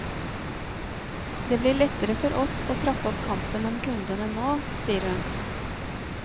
Det blir lettere for oss å trappe opp kampen om kundene nå, sier hun.